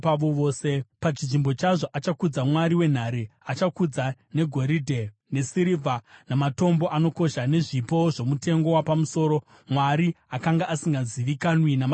Pachinzvimbo chazvo, achakudza mwari wenhare; achakudza negoridhe nesirivha namatombo anokosha, nezvipo zvomutengo wapamusoro, mwari akanga asingazivikanwi namadzibaba ake.